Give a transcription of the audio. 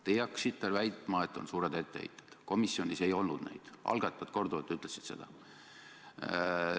Teie hakkasite väitma, et on suured etteheited, komisjonis ei olnud neid, algatajad ütlesid seda korduvalt.